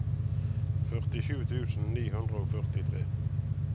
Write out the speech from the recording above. førtisju tusen ni hundre og førtitre